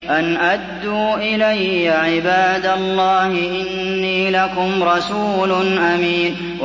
أَنْ أَدُّوا إِلَيَّ عِبَادَ اللَّهِ ۖ إِنِّي لَكُمْ رَسُولٌ أَمِينٌ